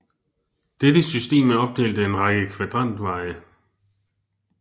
Dette system er opdelt af en række kvadrantveje